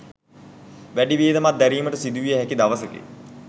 වැඩි වියදමක් දැරීමට සිදුවිය හැකි දවසකි.